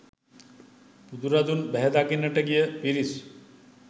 බුදුරදුන් බැහැදකින්නට ගිය පිරිස්